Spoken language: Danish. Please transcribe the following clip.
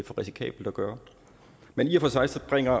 for risikabelt at gøre men i og for sig sig bringer